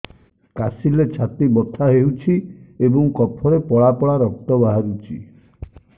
କାଶିଲେ ଛାତି ବଥା ହେଉଛି ଏବଂ କଫରେ ପଳା ପଳା ରକ୍ତ ବାହାରୁଚି